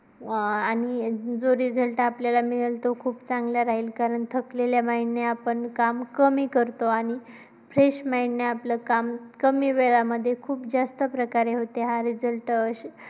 व आणि जो result आपल्याला मिळेल तो खूप चांगला राहील कारण की खूप थकलेल्या mind ने आपण काम कमी करतो. आणि fresh mind ने आपले काम कमी वेळामध्ये खूप जास्त प्रकारे होते, हा result